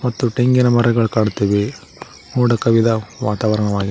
ಮತ್ತು ತೆಂಗಿನ ಮರಗಳ್ ಕಾಣ್ತಿವೆ ಮೋಡ ಕವಿದ ವಾತಾವರಣವಾಗಿ--